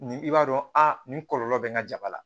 Ni i b'a dɔn a nin kɔlɔlɔ bɛ n ka jaba la